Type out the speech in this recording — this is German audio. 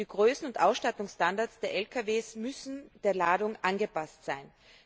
Die Größen und Ausstattungsstandards der Lkw müssen der Ladung angepasst sein.